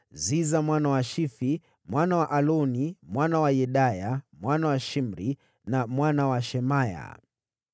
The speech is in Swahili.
Ziza mwana wa Shifi, mwana wa Aloni, mwana wa Yedaya, mwana wa Shimri, mwana wa Shemaya.